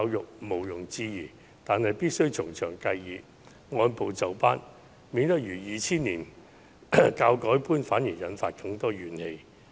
這是毋庸置疑的，但必須從長計議，按部就班，以免落得如2000年的教改般，反而引發更多怨氣。